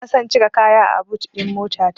Bana son cika kaya a but ɗin motata.